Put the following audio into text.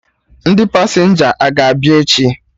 Ndị pasenja a ga-abịa echi?